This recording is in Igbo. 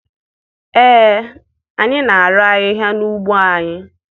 Ee, anyị na-arụ ahịhịa n'ugbo anyị.